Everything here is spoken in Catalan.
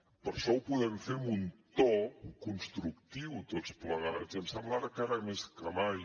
però això ho podem fer amb un to constructiu tots plegats i em sembla que ara més que mai